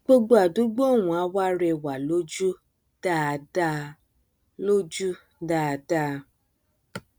gbogbo àdúgbò ọhún á wá rẹwà lójú dáadáa lójú dáadáa